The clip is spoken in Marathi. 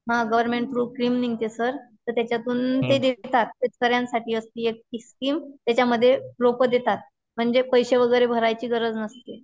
हां गवर्नमेंट कडून स्कीम मिळते सर ,तरसर्वांसाठी आसते ती स्कीम टीआर त्याच्यातून ते देतात म्हणजे पैसे वगैरे भरायची गरज नसते.